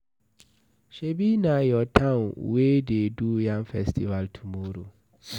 Shebi na your town wey dey do yam festival tomorrow?